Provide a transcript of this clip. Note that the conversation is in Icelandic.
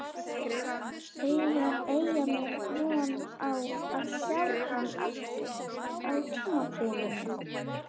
Eiga Eyjamenn von á að sjá hann aftur á tímabilinu?